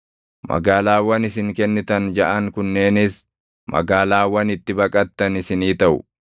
Magaalaawwan isin kennitan jaʼan kunneenis magaalaawwan itti baqattan isinii taʼu.